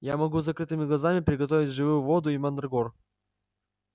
я могу с закрытыми глазами приготовить живую воду и мандрагор